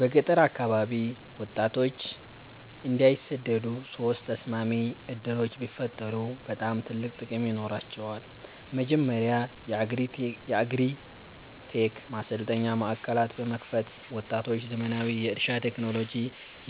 በገጠር አካባቢ ወጣቶች እንዳይሰደዱ ሶስት ተስማሚ ዕድሎች ቢፈጠሩ በጣም ትልቅ ጥቅም ይኖራቸዋል። መጀመሪያ የአግሪ-ቴክ ማሰልጠኛ ማዕከላት በመክፈት ወጣቶች ዘመናዊ የእርሻ ቴክኖሎጂ፣